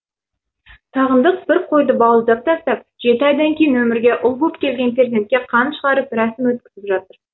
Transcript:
сағындық бір қойды бауыздап тастап жеті айдан кейін өмірге ұл боп келген перзентке қан шығарып рәсім өткізіп жатыр